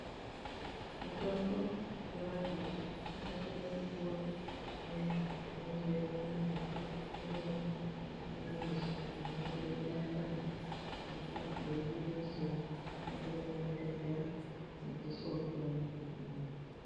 Mitombo yemadzoso inokone kupuwa muntu unenge eione mbute, umweni une madziso anenge eibaya baya eibude musodzi unokona kudondedzera mudziso wotoone zvakanaka.